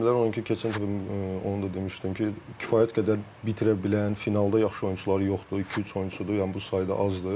Onu ki, keçən dəfə onu da demişdim ki, kifayət qədər bitirə bilən, finalda yaxşı oyunçuları yoxdur, iki-üç oyunçudur, yəni bu sayda azdır.